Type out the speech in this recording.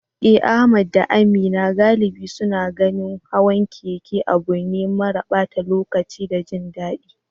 Eh, Ahmad da Amina galibi suna ganin hawan keke abu ne mara ɓata lokaci da jin daɗi.